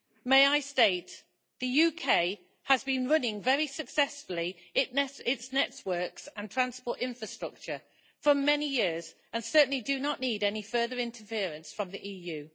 May I state that the UK has been running very successfully its networks and transport infrastructure for many years, and certainly does not need any further interference from the EU?